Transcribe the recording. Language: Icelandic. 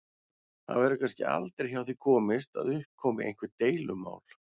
Það verður kannski aldrei hjá því komist að upp komi einhver deilumál.